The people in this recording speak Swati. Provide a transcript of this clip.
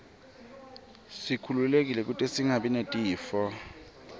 sikhululeke kute singabi netifo